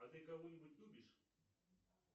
а ты кого нибудь любишь